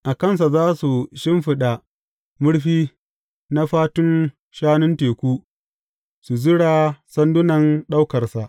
A kansa za su shimfiɗa murfi na fatun shanun teku, su zura sandunan ɗaukarsa.